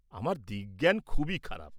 আমার দিক জ্ঞান খুবই খারাপ।